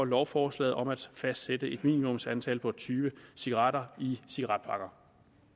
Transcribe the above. lovforslaget om at fastsætte et minimumsantal på tyve cigaretter i cigaretpakker